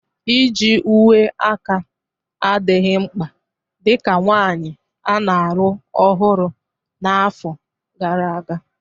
Iji uwe aka adịghị mkpa dị ka nwanyị a na-alụ ọhụrụ na afọ gara aga.